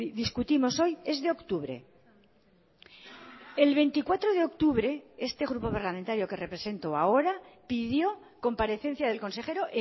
discutimos hoy es de octubre el veinticuatro de octubre este grupo parlamentario que represento ahora pidió comparecencia del consejero